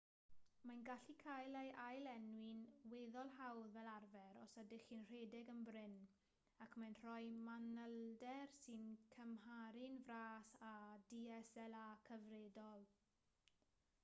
mae'n gallu cael ei ail-lenwi'n weddol hawdd fel arfer os ydych chi'n rhedeg yn brin ac mae'n rhoi manylder sy'n cymharu'n fras â dslr cyfredol